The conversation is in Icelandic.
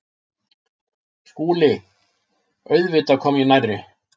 SKÚLI: Auðvitað kom ég nærri.